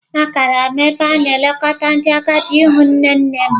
Agara m n'ebe a na-elekọta ndị agadi ịhụ nne nne m.